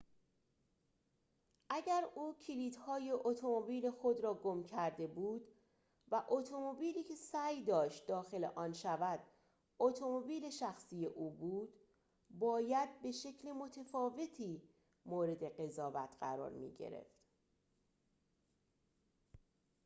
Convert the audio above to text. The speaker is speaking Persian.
اگر او کلیدهای اتومبیل خود را گم کرده بود و اتومبیلی که سعی داشت داخل آن شود اتومبیل شخصی او بود باید به شکل متفاوتی مورد قضاوت قرار می‌گرفت